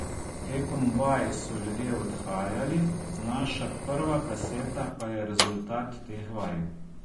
Tekom vaj so ljudje odhajali, naša prva kaseta pa je rezultat teh vaj.